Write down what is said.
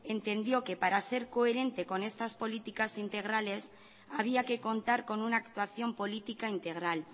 entendió que para ser coherente con estas políticas integrales había que contar con una actuación política integral